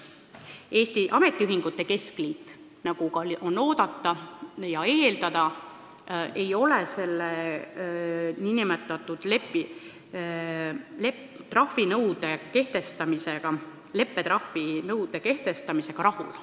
Eesti Ametiühingute Keskliit, nagu oligi oodata ja eeldada, ei ole selle leppetrahvi nõude kehtestamisega rahul.